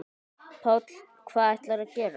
Páll: Hvað ætlarðu að gera?